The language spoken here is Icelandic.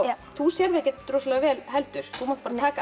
þú sérð ekkert rosalega vel heldur þú mátt taka af